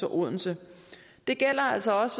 og odense det gælder altså også